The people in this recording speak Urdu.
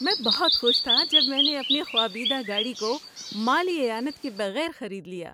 میں بہت خوش تھا جب میں نے اپنے خوابیدہ گاڑی کو مالی اعانت کے بغیر خرید لیا۔